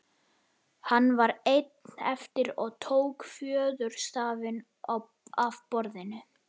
Hann var einn eftir og tók fjöðurstafinn af borðinu.